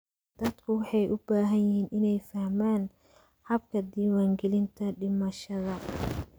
Dadku waxay u baahan yihiin inay fahmaan hababka diiwaangelinta dhimashada.